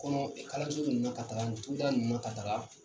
O kɔnɔ kalalanson ninnu ka taga ani ninnu na ka taga